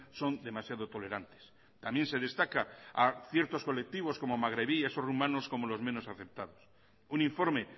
son demasiado tolerantes también se destaca a ciertos colectivos como magrebíes o rumanos como los menos aceptados un informe